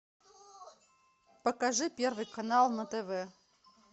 покажи первый канал на тв